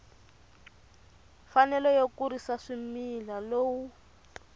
mfanelo yo kurisa swimila lowu